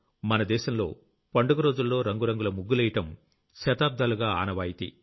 మన దేశంలో పండుగ రోజుల్లో రంగు రంగుల ముగ్గులెయ్యడం శతాబ్దాలుగా ఆనవాయితీ